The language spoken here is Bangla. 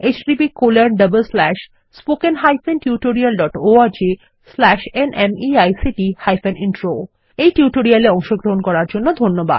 httpspoken tutorialorgNMEICT Intro এই টিউটোরিয়ালে অংশগ্রহন করার জন্য ধন্যবাদ